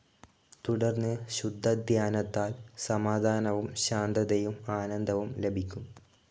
തുടർന്ന് ശുദ്ധധ്യാനത്താൽ സമാധാനവും ശാന്തതയും ആനന്ദവും ലഭിക്കും.